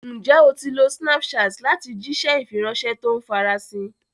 Ǹjẹ́ o ti lo Snapchat láti jíṣẹ́ ìfiránṣẹ́ to ń farasin?